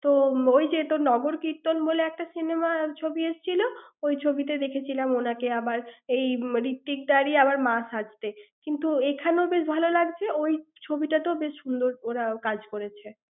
তোর, ওই যে তো নগরকীর্তন বলে একটা cinema ছবি এসেছিল, ওই ছবিতে দেখেছিলাম ওনাকে আবার এই মান~ ঋত্বিকদার এই আবার মা সাজতে। কিন্তু এখানেও বেশ, ভালো লাগছে, ওই ছবিটাতেও বেশ সুন্দর ওরা কাজ করেছে।